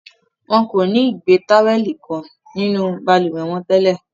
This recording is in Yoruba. Wọn kò ni igbe-Táwẹ̀lì-kò nínú balùwẹ́ wọn tẹ́lẹ̀